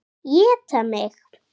Éta mig.